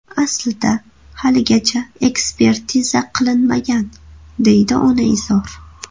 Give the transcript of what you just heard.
Aslida haligacha ekspertiza qilinmagan”, deydi onaizor.